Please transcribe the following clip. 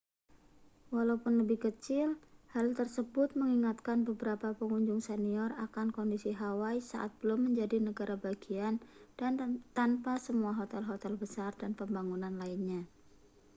walaupun lebih kecil hal tersebut mengingatkan beberapa pengunjung senior akan kondisi hawaii saat belum menjadi negara bagian dan tanpa semua hotel-hotel besar dan pembangunan lainnya